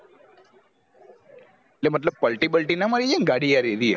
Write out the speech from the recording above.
મતલબ પલટી બલતી ના મારી જય ને ગાડી યાર અરીયે